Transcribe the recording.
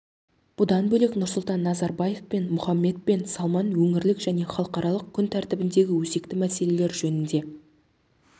бұдан бөлек нұрсұлтан назарбаев пен мұхаммед бен салман өңірлік және халықаралық күн тәртібіндегі өзекті мәселелер жөнінде